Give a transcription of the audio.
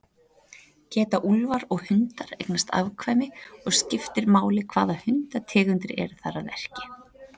Geta úlfar og hundar eignast afkvæmi og skiptir máli hvaða hundategundir eru þar að verki?